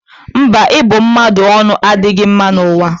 Mba, ịbụ mmadụ ọnụ adịghọ mma n'ụwa a.